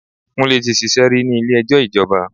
Kúnlé ti ṣíṣe rí ní ilé ẹjọ́ ìjọba.